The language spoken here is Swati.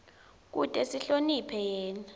kute sihloniphe yena